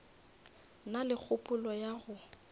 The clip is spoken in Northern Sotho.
na le kgopolo ya go